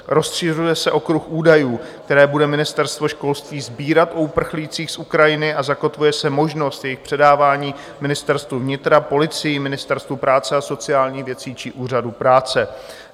Rozšiřuje se okruh údajů, které bude Ministerstvo školství sbírat o uprchlících z Ukrajiny, a zakotvuje se možnost jejich předávání Ministerstvu vnitra, policii, Ministerstvu práce a sociálních věcí či úřadu práce.